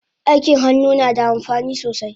Aikin hannu nada amfani sosai